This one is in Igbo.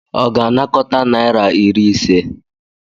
Ọ ga-anakọta naira iri ise?